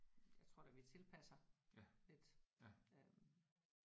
Jeg tror da vi tilpasser lidt øh